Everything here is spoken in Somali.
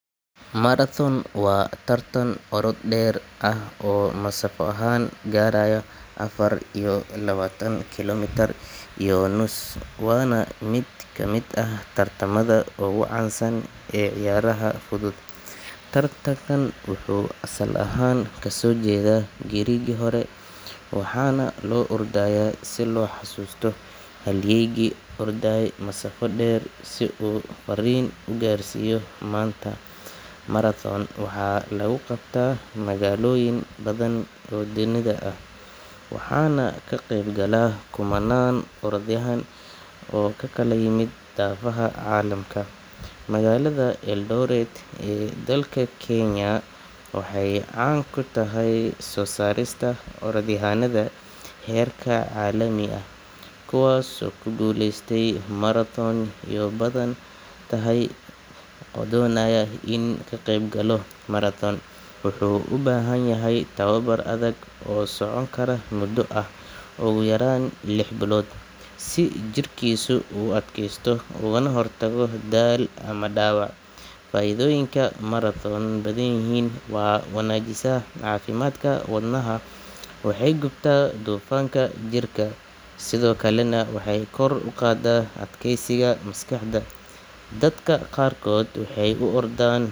Marathon waa tartan orod deer ah oo nasab ahan garayo afar iyo lawatan kilometre wana miid kamiid ah tartanka fuduud ee ciyaraha tartankan wuxuu asal. ahan lasojeeda waxana lo ordi haya si lo garsiyo, magalaada eldoret ee dalka kenya waxee can kutahay sosarista orodyan, wuxuu ubahan yahay tartan soconaya modo ogu yaran lix bilod ah si jirkisu uu udakesto, waxee gubtaa kor uqada adkesigu dadka qar waxew u ordan.